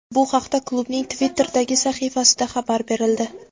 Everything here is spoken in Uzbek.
Bu haqda klubning Twitter’dagi sahifasida xabar berildi .